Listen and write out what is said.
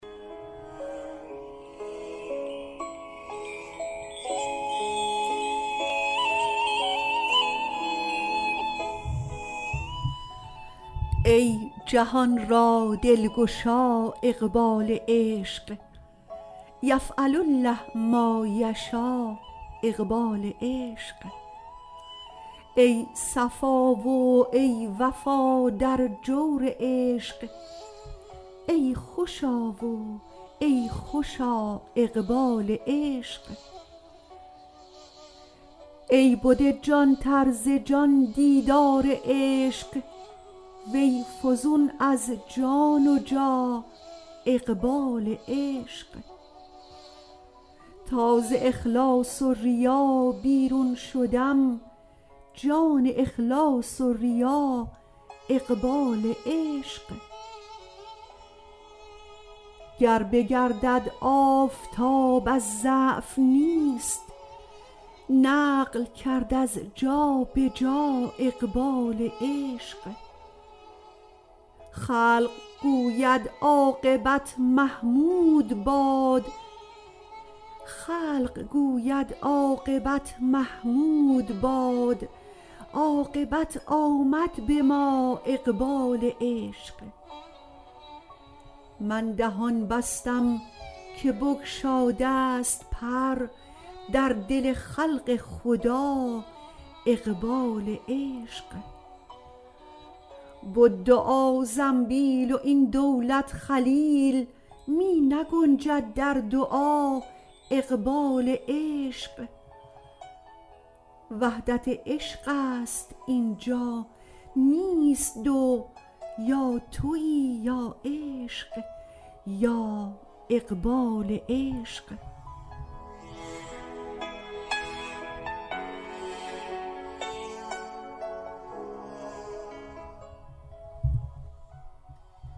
ای جهان را دلگشا اقبال عشق یفعل الله ما یشا اقبال عشق ای صفا و ای وفا در جور عشق ای خوشا و ای خوشا اقبال عشق ای بده جانتر ز جان دیدار عشق وی فزون از جان و جا اقبال عشق تا ز اخلاص و ریا بیرون شدم جان اخلاص و ریا اقبال عشق گر بگردد آفتاب از ضعف نیست نقل کرد از جا به جا اقبال عشق خلق گوید عاقبت محمود باد عاقبت آمد به ما اقبال عشق من دهان بستم که بگشادست پر در دل خلق خدا اقبال عشق بد دعا زنبیل و این دولت خلیل می نگنجد در دعا اقبال عشق وحدت عشقست این جا نیست دو یا توی یا عشق یا اقبال عشق